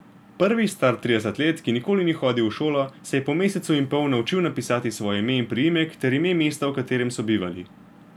Prvi, star trideset let, ki nikoli ni hodil v šolo, se je po mesecu in pol naučil napisati svoje ime in priimek ter ime mesta, v katerem so bivali.